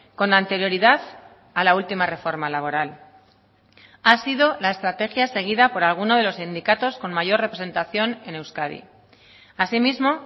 con anterioridad a la última reforma laboral ha sido la estrategia seguida por alguno de los sindicatos con mayor representación en euskadi asimismo